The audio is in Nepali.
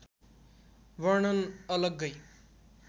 वर्णन अलग्गै